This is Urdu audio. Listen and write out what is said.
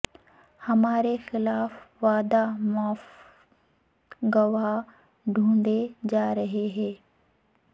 ہمارے خلاف وعدہ معاف گواہ ڈھونڈے جا رہے ہیں